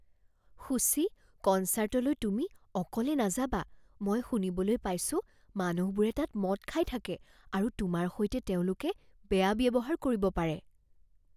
শুচি, কনছাৰ্টলৈ তুমি অকলে নাযাবা। মই শুনিবলৈ পাইছোঁ মানুহবোৰে তাত মদ খাই থাকে আৰু তোমাৰ সৈতে তেওঁলোকে বেয়া ব্যৱহাৰ কৰিব পাৰে।